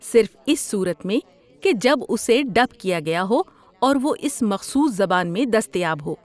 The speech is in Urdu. صرف اس صورت میں کہ جب اسے ڈب کیا گیا ہو اور وہ اس مخصوص زبان میں دستیاب ہو۔